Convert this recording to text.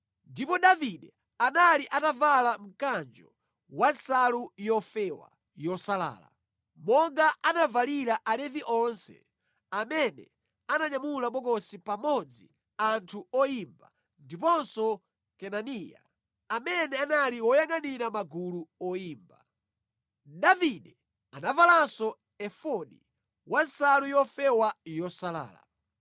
Ndipo Davide anali atavala mkanjo wa nsalu yofewa yosalala, monga anavalira Alevi onse amene ananyamula bokosi pamodzi anthu oyimba, ndiponso Kenaniya, amene anali woyangʼanira magulu oyimba. Davide anavalanso efodi ya nsalu yofewa yosalala.